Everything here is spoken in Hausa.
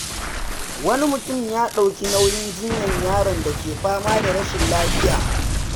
Wani mutum ya ɗauki nauyin jinyar yaron da ke fama da rashin lafiya.